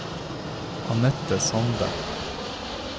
Annette Sande